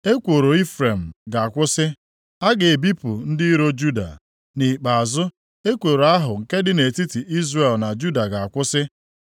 Ekworo Ifrem ga-akwụsị, a ga-ebipụ ndị iro Juda. Nʼikpeazụ, ekworo ahụ nke dị nʼetiti Izrel na Juda ga-akwụsị + 11:13 \+xt Aịz 9:21; Jer 3:18; Izk 37:16,17,22\+xt*; ha agaghị alụsokwa onwe ha ọgụ ọzọ.